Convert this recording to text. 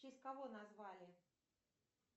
в честь кого назвали